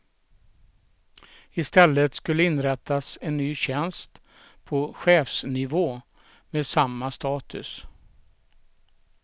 Istället skulle inrättas en ny tjänst på chefsnivå med samma status.